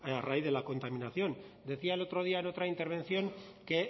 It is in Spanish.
a raíz de la contaminación decía el otro día en otra intervención que